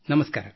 ನಮಸ್ಕಾರ